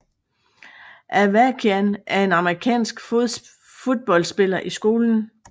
Avakian var en amerikansk fodboldspiller i skolen